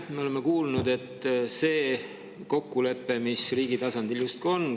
Me oleme kuulnud kokkuleppest, mis riigi tasandil justkui on.